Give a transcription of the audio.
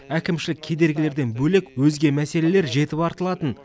әкімшілік кедергілерден бөлек өзге мәселелер жетіп артылатын